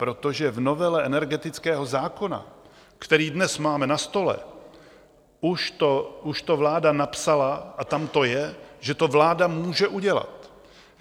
Protože v novele energetického zákona, který dnes máme na stole, už to vláda napsala a tam to je, že to vláda může udělat.